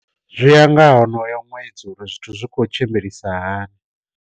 Zwiya nga honoyo ṅwedzi uri zwithu zwi khou tshimbilisa hani.